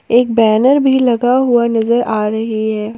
एक बैनर भी लगा हुआ नजर आ रही है।